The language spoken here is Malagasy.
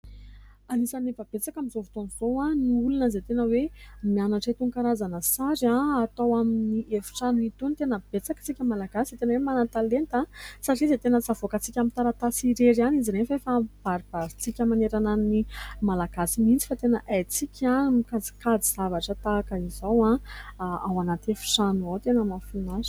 anisany efa, betsaka amin'izao fotoan'izao ny olona izay tena hoe mianatra itoan-karazana sary ah atao amin'ny efitrano hitony tena betsaka antsika malagasy tena hoe manan-talenta aho satria izay tena tsavoaka antsika amin'ny taratasy irery ihany izy nehefa efa baribarintsintsika maneranan'ny malagasy mintsy fa tena haintsika mikajikajy zavatra tahaka izao ah ao ananty efitrano aho tena mafina azo